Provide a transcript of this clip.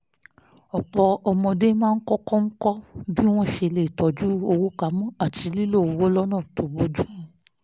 ọ̀pọ̀ ọmọdé máa ń kọ́kọ́ kọ́ bí wọ́n ṣe lè tọ́jú owó pa mọ́ àti lílo owó lọ́nà bójú mu